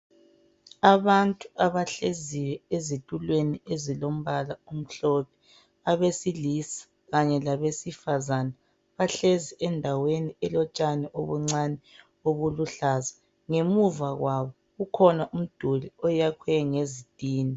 Abantu abahlezi ezitulweni ezilombala omhlophe, abesilisa kanye labesifazana, bahlezi endaweni elotshani obuncane obuluhlaza. Ngemuva kwabo kukhona umduli oyakhwe ngezitina.